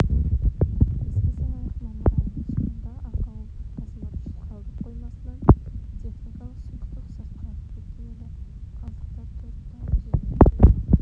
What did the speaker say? еске салайық мамыр айының соңында ақауы бар қазмырыш қалдық қоймасынан техникалық сұйықтық сыртқа ағып кеткен еді қалдықтар төрт тау өзеніне құйылып